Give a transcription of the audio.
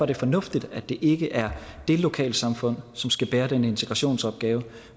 det fornuftigt at det ikke er det lokalsamfund som skal bære den integrationsopgave